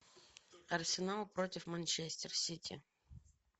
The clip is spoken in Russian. арсенал против манчестер сити